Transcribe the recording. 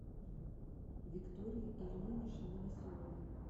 виктории ильиничны новоселовой